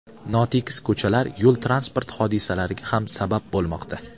Notekis ko‘chalar yo‘l-transport hodisalariga ham sabab bo‘lmoqda.